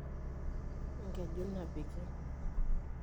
enkeju napiki.